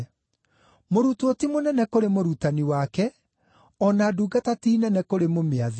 “Mũrutwo ti mũnene kũrĩ mũrutani wake, o na ndungata ti nene kũrĩ mũmĩathi.